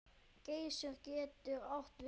Geysir getur átt við